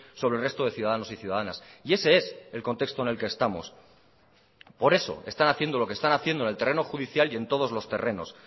sobre el resto de ciudadanos y ciudadanas y ese es el contexto en el que estamos por eso están haciendo lo que están haciendo en el terreno judicial y en todos los terrenos